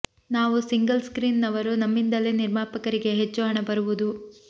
ನಾವು single screen ನವರು ನಮ್ಮಿಂದಲೇ ನಿರ್ಮಾಪಕರಿಗೆ ಹೆಚ್ಚು ಹಣ ಬರುವುದು